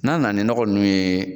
N'an nana ni nɔgɔ ninnu ye